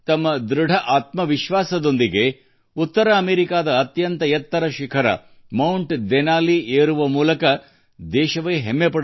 ತನ್ನ ಅದಮ್ಯ ಉತ್ಸಾಹದಿಂದ ಪೂರ್ವಾ ಅವರು ಉತ್ತರ ಅಮೆರಿಕಾದ ಮೌಂಟ್ ಡೆನಾಲಿಯ ಅತ್ಯುನ್ನತ ಕಡಿದಾದ ಶಿಖರವನ್ನು ಆರೋಹಣ ಮಾಡಿದ್ದಾರೆ ಮತ್ತು ದೇಶಕ್ಕೆ ಗೌರವವನ್ನು ತಂದಿದ್ದಾರೆ